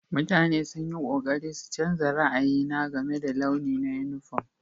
Mutane sun yi ƙoƙari su canza ra'ayi na game da launi na yunifom.